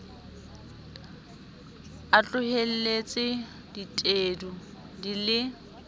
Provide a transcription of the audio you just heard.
a tlohelletse ditedu di le